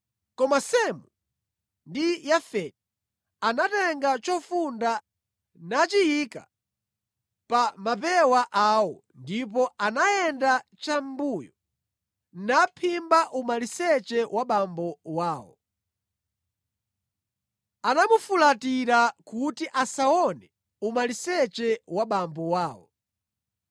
Koma Semu ndi Yafeti anatenga chofunda nachiyika pa mapewa awo; ndipo anayenda chamʼmbuyo naphimba umaliseche wa abambo awo. Anafulatira kuti asaone umaliseche wa abambo awo.